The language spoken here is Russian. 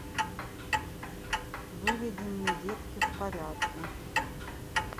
выведи мне детки в порядке